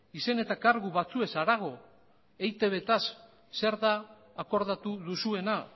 izen eta kargu batzuez harago eitbtaz zer den akordatu duzuena